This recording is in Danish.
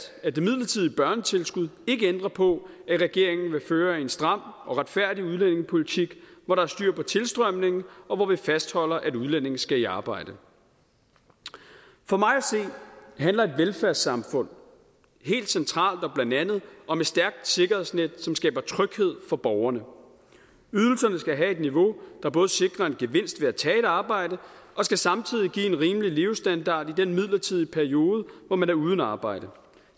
at det midlertidige børnetilskud ikke ændrer på at regeringen vil føre en stram og retfærdig udlændingepolitik hvor der er styr på tilstrømningen og hvor vi fastholder at udlændinge skal i arbejde for mig at se handler et velfærdssamfund helt centralt og blandt andet om et stærkt sikkerhedsnet som skaber tryghed for borgerne ydelserne skal have et niveau der både sikrer en gevinst ved at tage et arbejde og skal samtidig give en rimelig levestandard i den midlertidige periode hvor man er uden arbejde